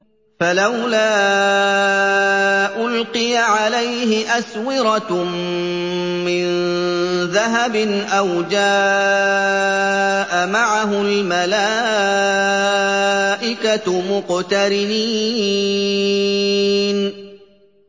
فَلَوْلَا أُلْقِيَ عَلَيْهِ أَسْوِرَةٌ مِّن ذَهَبٍ أَوْ جَاءَ مَعَهُ الْمَلَائِكَةُ مُقْتَرِنِينَ